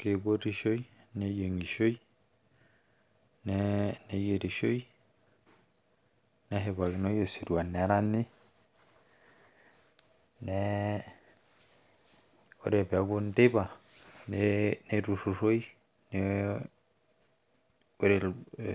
Keipotishoi, neyieng`ishoi, neeyirishoi neshipakinoi osirua neranyi neeh, Ore pee eeku teipa eeh neiturruroi ore